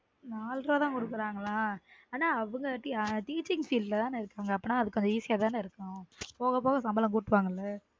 நால் ரூவா தான் குடுக்காங்களா ஆனா அவங்க teaching field ல தான இருக்காங்க அப்பனா அது கொஞ்சம் easy யா தான இருக்கும் போக போக சம்பளம் கூட்டு வாங்க ல